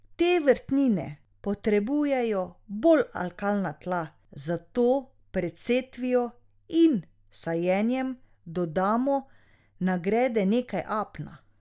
Te vrtnine potrebujejo bolj alkalna tla, zato pred setvijo in sajenjem dodamo na grede nekaj apna.